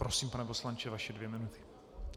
Prosím, pane poslanče, vaše dvě minuty.